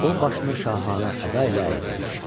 O başını şahanə əda ilə əydi.